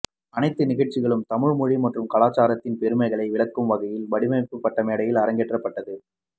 அனைத்து நிகழ்ச்சிகளும் தமிழ் மொழி மற்றும் கலாச்சாரத்தின் பெருமைகளை விளக்கும் வகையில் வடிவமைக்கப்பட்டு மேடையில் அரங்கேற்றப்பட்டது